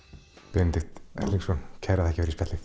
Benedikt Erlingsson takk fyrir spjallið